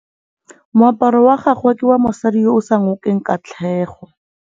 Moaparô wa gagwe ke wa mosadi yo o sa ngôkeng kgatlhegô.